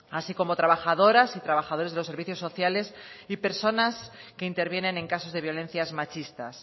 así como trabajadoras y trabajadores de los servicios sociales y personas que intervienen en casos de violencias machistas